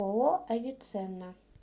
ооо авиценна